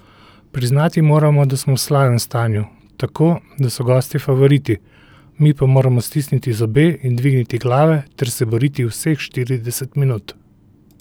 Priznati moramo, da smo v slabem stanju, tako, da so gostje favoriti, mi pa moramo stisniti zobe in dvigniti glave ter se boriti vseh štirideset minut.